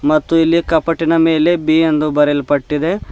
ಮತ್ತು ಇಲ್ಲಿ ಕಪಟಿನ ಮೇಲೆ ಬಿ ಎಂದು ಬರೆಯಲ್ಪಟ್ಟಿದೆ.